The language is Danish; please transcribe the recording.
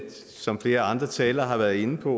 som flere andre talere har været inde på